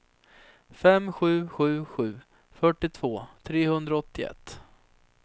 fem sju sju sju fyrtiotvå trehundraåttioett